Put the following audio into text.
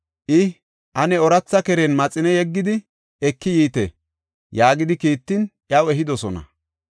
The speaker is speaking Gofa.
I, “Ane ooratha keren maxine yeggidi, eki yiite” yaagidi kiittin, iyaw ehidosona.